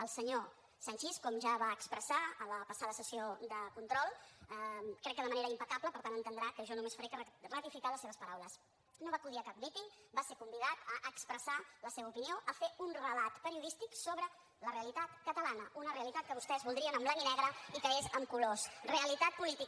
el senyor sanchis com ja va expressar a la passada sessió de control crec que de manera impecable per tant entendrà que jo només faré que ratificar les seves paraules no va acudir a cap míting va ser convidat a expressar la seva opinió a fer un relat periodístic sobre la realitat catalana una realitat que vostès voldrien en blanc i negre i que és en colors realitat política